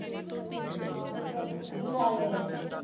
ਹਾਂ ਫਿਰ ਕੀ ਲਾ ਲਿਆ ਤੂੰ।